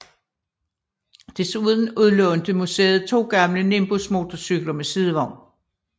Desuden udlånte museet to gamle Nimbus motorcykler med sidevogn